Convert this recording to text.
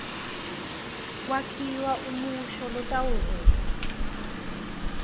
kwakhiwa umusho lotawuveta